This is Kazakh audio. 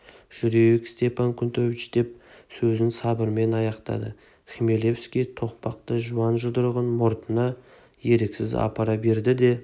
жүрейік степан кнутович деп сөзін сыбырмен аяқтады хмелевский тоқпақтай жуан жұдырығын мұртына еріксіз апара берді де